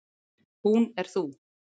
Hún er þú.